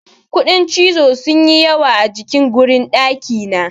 Kuɗin cizo sun yi yawa a jikin garun ɗakina.